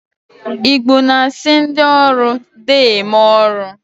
Igbo na-asị ndị ọrụ deeme ọrụ